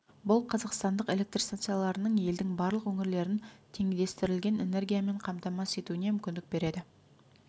бұл қазақстандық электр станцияларының елдің барлық өңірлерін теңдестірілген энергиямен қамтамасыз етуіне мүмкіндік береді